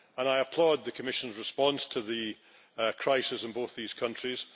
I applaud the Commission's response to the crisis in both these countries.